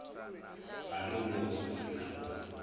gare moo go se nago